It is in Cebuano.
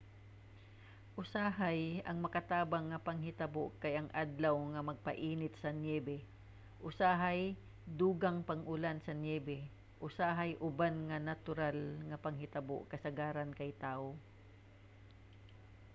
usahay ang makatabang nga panghitabo kay ang adlaw nga magpainit sa niyebe usahay dugang pang pag-ulan sa niyebe usahay uban nga mga natural nga panghitabo kasagaran kay tawo